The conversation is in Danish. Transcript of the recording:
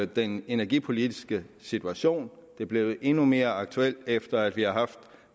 den energipolitiske situation det er blevet endnu mere aktuelt efter at vi har haft